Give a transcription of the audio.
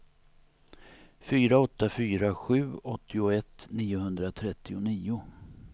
fyra åtta fyra sju åttioett niohundratrettionio